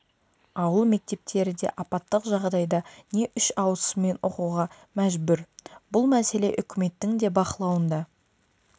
ауыл мектептері де апаттық жағдайда не үш ауысыммен оқуға мәжбүр бұл мәселе үкіметтің де бақылауында